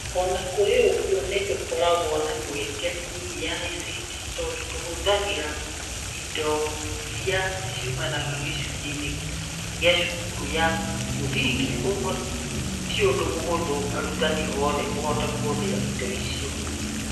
O na kũrĩ ũguo, nĩ tũkoragwo na mĩeke mĩnini ya ICT, tondũ tũhũthagĩra indo iria ciumaga gĩcunjĩ-inĩ kĩa cukuru ya mũthingi, kwoguo ti ũndũ mũhũthũ arutani oothe kũhota kũhũthĩra indo icio.